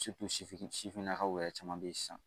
sifinnakaw yɛrɛ caman be ye sisan